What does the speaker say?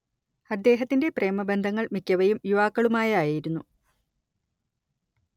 അദ്ദേഹത്തിന്റെ പ്രേമബന്ധങ്ങൾ മിക്കവയും യുവാക്കളുമായായിരുന്നു